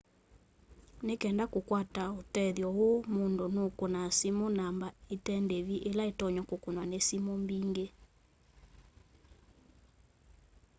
ni kenda kukwata tethyo uu mundu nu kunaa simu namba ite ndivi ila itonya kukunwa ni simu mbingi